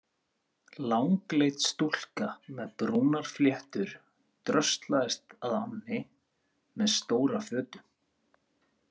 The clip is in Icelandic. Langleit stúlka með brúnar fléttur dröslaðist að ánni með stóra fötu.